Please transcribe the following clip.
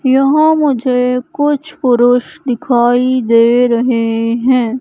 यहां मुझे कुछ पुरुष दिखाई दे रहे हैं।